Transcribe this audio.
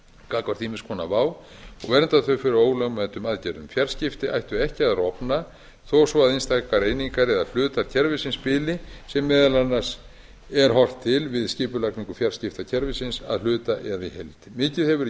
gagnvart ýmiss konar vá og vernda þau fyrir ólögmætum aðgerðum fjarskipti ættu ekki að rofna þó svo einstakar einingar eða hlutar kerfisins bili sem meðal annars er horft til við skipulagningu fjarskiptakerfisins að hluta eða í heild mikið hefur verið